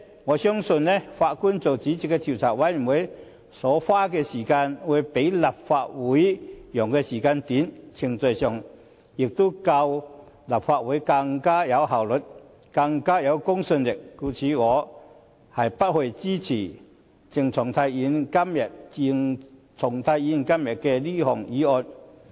我相信法官擔任主席的調查委員會所花的時間會較立法會所用的時間短，程序上也會較立法會更有效率和公信力，因此我不會支持鄭松泰議員今天這項議案。